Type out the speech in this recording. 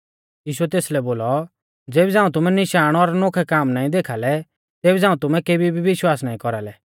यीशुऐ तेसलै बोलौ ज़ेबी झ़ांऊ तुमै निशाण और नोखै काम नाईं देखाल़ै तेबी झ़ांऊ तुमै केबी भी विश्वास नाईं कौरालै